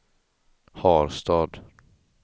Harstad